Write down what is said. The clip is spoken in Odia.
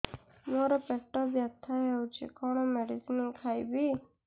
ମୋର ପେଟ ବ୍ୟଥା ହଉଚି କଣ ମେଡିସିନ ଖାଇବି